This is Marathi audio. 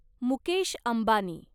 मुकेश अंबानी